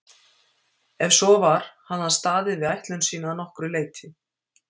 Ef svo var hafði hann staðið við ætlun sína að nokkru leyti.